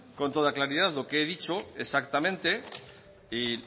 con toda claridad lo que he dicho exactamente y